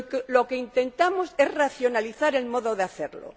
Lo que intentamos es racionalizar el modo de hacerlo.